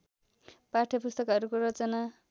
पाठ्यपुस्तकहरूको रचना